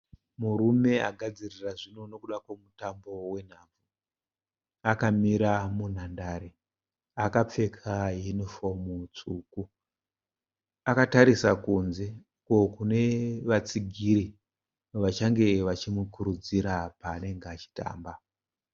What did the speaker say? Murume agadzirira zvino nekuda kwemutambo wenhabvu. Akamira munhandare akapfeka yunifomu tsvuku. Akatarisa kunze uko kune vatsigiri vachange vachimukurudzira paanenge achitamba.